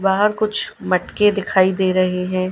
बाहर कुछ मटके दिखाई दे रहे हैं।